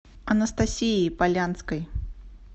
анастасией полянской